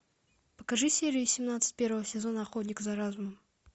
покажи серию семнадцать первого сезона охотник за разумом